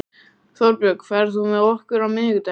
Þorbjörg, ferð þú með okkur á miðvikudaginn?